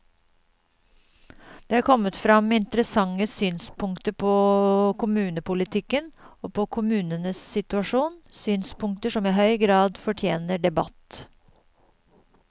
Det er kommet frem interessante synspunkter på kommunepolitikken og på kommunenes situasjon, synspunkter som i høy grad fortjener debatt.